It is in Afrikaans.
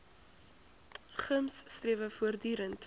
gems strewe voortdurend